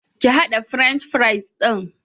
Ki haɗa French fries ɗin.